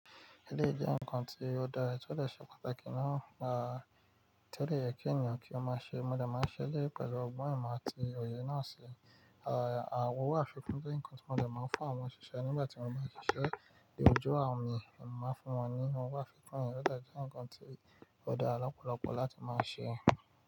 Eleyi jẹ́ ǹkan tí ó dára tí ó lè ṣe pàtàkì náà, tí ó de yẹ kí ènìyàn kí ó máa ṣe. Mo dẹ̀ máa ń ṣẹ eleyi pẹ̀lú ọgbọ́n ìmọ̀ àti òye náà ṣe. Àwon owo àfikún jẹ́ ǹkan tí mo dẹ̀ máa ń fún àwọn òṣìṣẹ́ nígbà tí wọ́n bá ṣiṣẹ́. Ìgbiyanju àwọn mi lè máa fún wọn ní ohun wàfikún, ó yẹ kó jẹ́ ǹkan tí ó dára lọ́pọ̀lọpọ̀ láti máa ṣe.